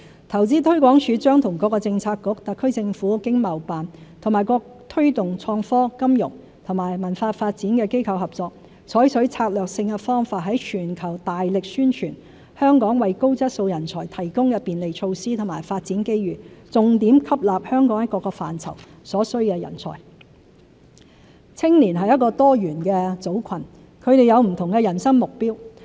投資推廣署將與各政策局、特區政府經貿辦和各推動創科、金融和文化發展的機構合作，採取策略性方法在全球大力宣傳香港為高質素人才提供的便利措施和發展機遇，重點吸納香港在各個範疇所需的人才。青年發展青年是一個多元的組群，他們有不同的人生目標。